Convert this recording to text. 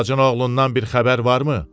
Bacın oğlundan bir xəbər varmı?